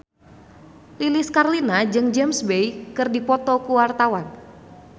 Lilis Karlina jeung James Bay keur dipoto ku wartawan